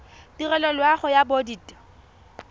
tirelo ya loago ya bodit